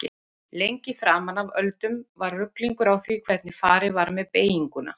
Lengi framan af öldum var ruglingur á því hvernig farið var með beyginguna.